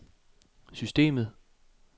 systemet